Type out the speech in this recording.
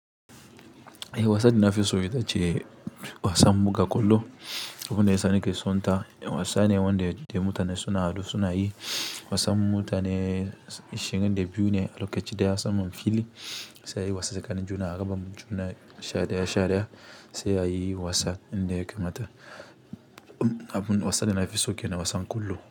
Eh, wasan da nafi so ita ce wasan buga ƙwallo. Abun da yasa na ke son ta, wasan ne wanda mutane suna haɗuwa suna yi. Wasan mutane ishirin da biyu ne a lokaci guda, saman fili sai a yi wasa tsakanin juna a gaba juna sha ɗaya sha ɗaya sai a yi wasan inda ya kamata. Abun wasan da nafi so ke nan wasan ƙwallo.